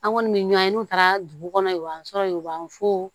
An kɔni mi ɲɔn ye n'u taara dugu kɔnɔ u b'an sɔrɔ yen u b'an fo